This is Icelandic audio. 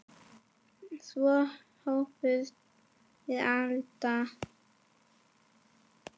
Svo hófust þeir handa.